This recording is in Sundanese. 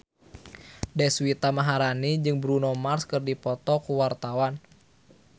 Deswita Maharani jeung Bruno Mars keur dipoto ku wartawan